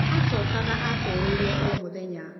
Acokaga acereirwo o mũthenya